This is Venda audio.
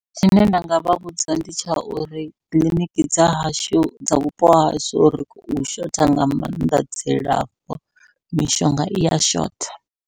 Tshine nda nga vha vhudza ndi tsha uri kiḽiniki dza hashu, dza vhupo hahashu ri khou shotha nga maanḓa dzilafho mishonga iya shotha.